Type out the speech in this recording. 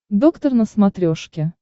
доктор на смотрешке